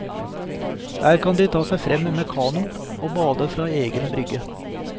Der kan de ta seg frem med kano og bade fra egen brygge.